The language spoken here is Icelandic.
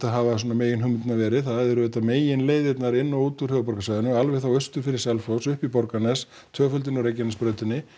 hafa svona meginhugmyndirnar verið það eru auðvitað meginleiðirnar inn og út úr höfuðborgarsvæðinu alveg austur fyrir Selfoss og upp í Borgarnes tvöföldun á Reykjanesbrautinni